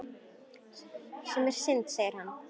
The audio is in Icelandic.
Sem er synd segir hann.